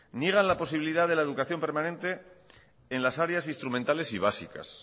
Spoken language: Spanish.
niegan la posibilidad de la educación permanente en las áreas instrumentales y básicas